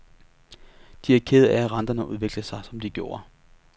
De er kede af, at renterne udviklede sig som de gjorde.